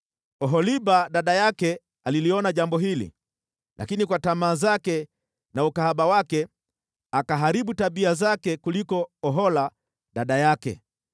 “Oholiba dada yake aliliona jambo hili, lakini kwa tamaa zake na ukahaba wake, akaharibu tabia zake kuliko Ohola dada yake.